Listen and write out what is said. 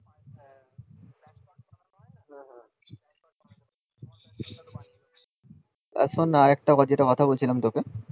এখন আর একটা যেটা কথা বলছিলাম তোকে